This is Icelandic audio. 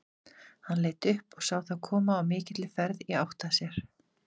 Hann leit upp og sá þá koma á mikilli ferð í átt að sér.